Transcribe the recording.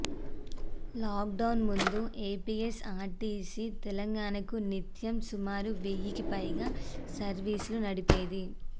లాక్డౌన్కు ముందు ఏపీఎస్ఆర్టీసీ తెలంగాణకు నిత్యం సుమారు వెయ్యికి పైగా సర్వీసులు నడిపేది